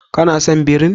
Ka na son birin?